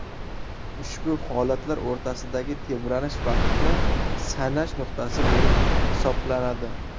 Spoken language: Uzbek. Ushbu holatlar o‘rtasidagi tebranish vaqtni sanash nuqtasi bo‘lib hisoblanadi.